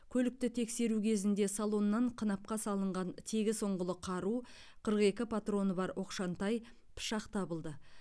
көлікті тексеру кезінде салоннан қынапқа салынған тегіс ұңғылы қару қырық екі патроны бар оқшантай пышақ табылды